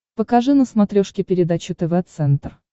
покажи на смотрешке передачу тв центр